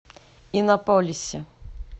иннополисе